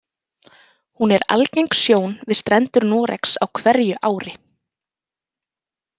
Hún er algeng sjón við strendur Noregs á hverju ári.